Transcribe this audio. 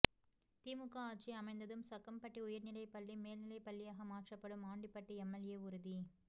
திமுக ஆட்சி அமைந்ததும் சக்கம்பட்டி உயர்நிலை பள்ளி மேல்நிலை பள்ளியாக மாற்றப்படும் ஆண்டிபட்டி எம்எல்ஏ உறுதி